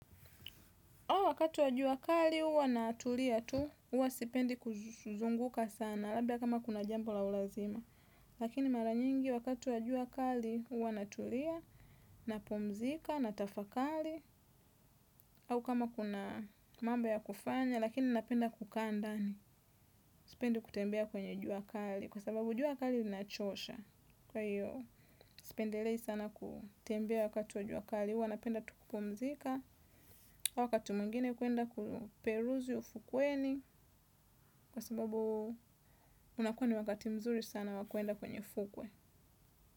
Au wakati wa jua kali huwa natulia tu, huwa sipendi kuzunguka sana, labda kama kuna jambo la ulazima. Lakini mara nyingi wakati wa jua kali huwa natulia, napumzika, natafakali, au kama kuna mambo ya kufanya, lakini napenda kukaa ndani, sipendi kutembea kwenye jua kali, kwa sababu jua kali linachosha, kwa hiyo, sipendelei sana kutembea wakati wa jua kali, huwa napenda tu kupumzika wakati mwingine kuenda kuperuzi ufukweni kwa sababu unakuwa ni wakati mzuri sana wakuenda kwenye fukwe.